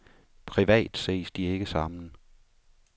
Privat ses de ikke sammen.